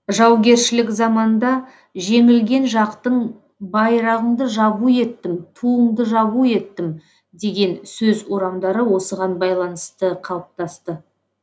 жаугершілік заманда жеңілген жақтың байрағыңды жабу еттім туыңды жабу еттім деген сөз орамдары осыған байланысты қалыптасты